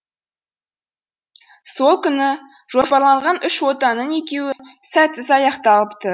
сол күні жоспарланған үш отаның екеуі сәтсіз аяқталыпты